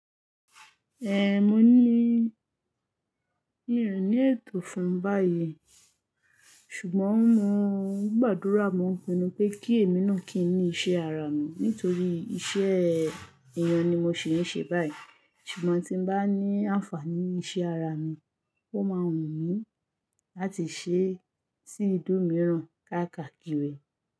Mo ní ìrònú ètò fún báyìí ṣùgbọ́n mo gbàdúrà mọ̀ pinu pé kí èmi nù kì í ní ìṣe ara mi nítorí iṣẹ́ èèyàn ni mo ṣì ń ṣe báyìí ṣùgbọ́n tí n bá ní àǹfààní iṣẹ́ ara mi, ó máa wù mí láti ṣé sí ìlú mìíràn káàkakiri.